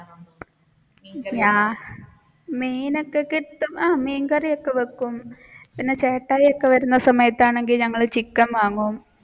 മീനൊക്കെ കിട്ടും മീൻകറി ഒക്കെ വെക്കും പിന്നെ ചേട്ടായി ഒക്കെ വരുന്ന സമയത്താണെങ്കിൽ ഞങ്ങൾ ചിക്കൻ വാങ്ങും.